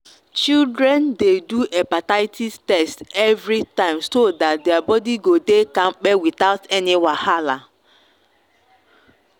children dey do hepatitis test every time so that their body go dey kampe without any wahala.